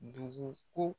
Dugu ko